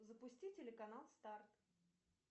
запусти телеканал старт